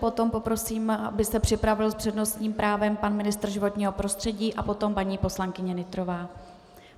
Potom poprosím, aby se připravil s přednostním právem pan ministr životního prostředí a potom paní poslankyně Nytrová.